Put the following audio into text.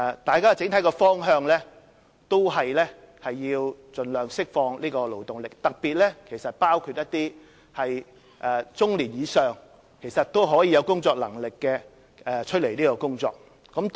大家認同的整體方向都是要盡量釋放勞動力，包括中年以上仍有工作能力的人士投身工作。